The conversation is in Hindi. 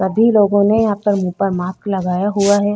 सभी लोगों को ने यहाँ पर मुँह पर मार्क्स लगाया हुआ है।